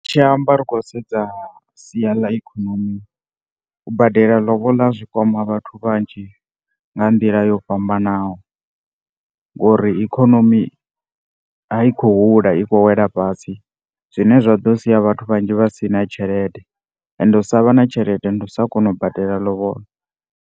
Ri tshi amba ri khou sedza sia ḽa ikonomi u badela lobola zwi kama vhathu vhanzhi nga ndila yo fhambanaho. Ngori ikonomi a yi khou hula, i khou wela fhasi zwine zwa ḓo sia vhathu vhanzhi vha si na tshelede and u sa vha na tshelede ndi u sa kona u badela lobola.